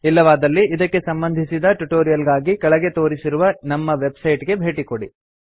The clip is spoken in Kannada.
ಇಲ್ಲವಾದಲ್ಲಿ ಇದಕ್ಕೆ ಸಂಬಂಧಿಸಿದ ಟ್ಯುಟೋರಿಯಲ್ ಗಾಗಿ ಕೆಳಗೆ ತೋರಿಸಿರುವ ನಮ್ಮ ವೆಬ್ಸೈಟ್ ಗೆ ಭೇಟಿ ಕೊಡಿ